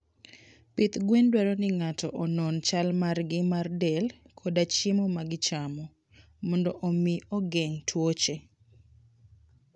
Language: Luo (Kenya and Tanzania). Pidh gwen dwaro ni ng'ato onon chal margi mar del koda chiemo ma gichamo, mondo omi ogeng' tuoche.